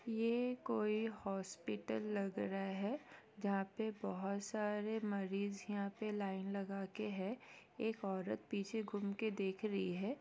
ये कोई हॉस्पिटल लग रहा है जहां पे बहुत सारी मरीज यहाँ पे लाइन लगा के है एक औरत पीछे घूम के देख रही है।